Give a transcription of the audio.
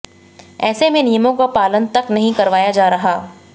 ऐसे में नियमों का पालन तक नहीं करवाया जा रहा